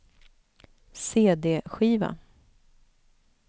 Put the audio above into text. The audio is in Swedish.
cd-skiva